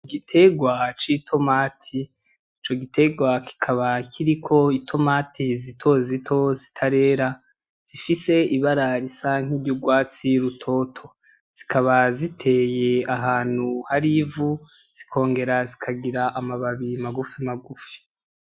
Igitegwa c'itomati, ico gitegwa kikaba kiriko intomati zitoto zitararera, zifise ibara risa nk'iry'urwatsi rutoto. Zikaba ziteye ahantu hari ivu, zikongera zikagira amababi magufi magufi.